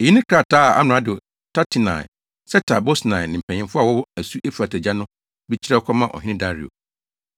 Eyi ne krataa a amrado Tatenai, Setar-Bosnai ne mpanyimfo a wɔwɔ asu Eufrate agya no bi kyerɛw kɔmaa ɔhene Dario: